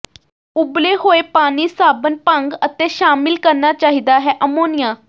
ਉਬਲੇ ਹੋਏ ਪਾਣੀ ਸਾਬਣ ਭੰਗ ਅਤੇ ਸ਼ਾਮਿਲ ਕਰਨਾ ਚਾਹੀਦਾ ਹੈ ਅਮੋਨੀਆ